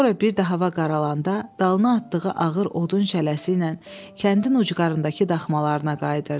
Sonra bir də hava qaralanda, dalına atdığı ağır odun şələsi ilə kəndin ucqarındakı daxmalarına qayıdırdı.